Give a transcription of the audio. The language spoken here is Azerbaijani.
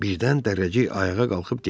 Birdən Dərrəcik ayağa qalxıb getdi.